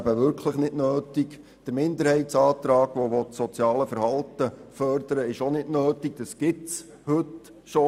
Auch der Minderheitsantrag, der das soziale Verhalten fördern will, ist nicht nötig, da diese Forderung bereits heute besteht.